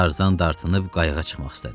Tarzan dartınıb qayıqa çıxmaq istədi.